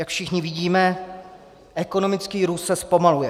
Jak všichni vidíme, ekonomický růst se zpomaluje.